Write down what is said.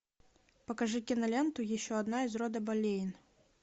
покажи киноленту еще одна из рода болейн